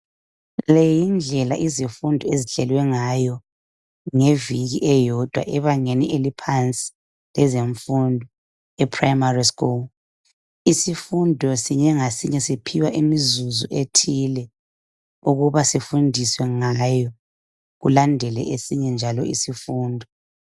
Leyi yindlela izifundi ezihlelwe ngayo eyeviki elilodwa ebangeni eliphansi lezemfundo e"primary school'.Isifundo sinye ngasinye siphiwa imizuzu ethile ukuba sifundiswe ngayo kulandele esinye njalo isifundo.